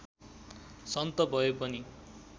सन्त भए पनि